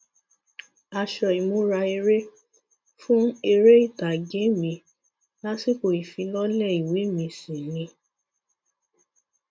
nínú ọrọ uhuo elias ò ní nígbà tóun fẹ kẹmi nǹkan dáa fóun àwọn ń jẹun láì sí wàhálà